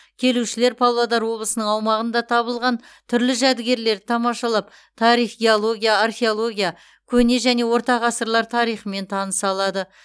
келушілер павлодар облысының аумағында табылған түрлі жәдігерлерді тамашалап тарих геология археология көне және орта ғасырлар тарихымен таныса алады